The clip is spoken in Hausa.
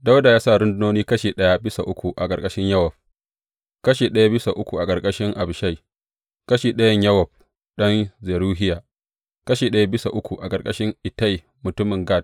Dawuda ya sa rundunoni kashi ɗaya bisa uku a ƙarƙashin Yowab, kashi ɗaya bisa uku a ƙarƙashin Abishai, ɗan’uwan Yowab ɗan Zeruhiya, kashi ɗaya bisa uku a ƙarƙashin Ittai mutumin Gat.